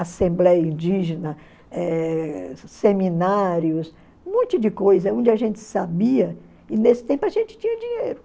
Assembleia Indígena, eh seminários, um monte de coisa onde a gente sabia e nesse tempo a gente tinha dinheiro.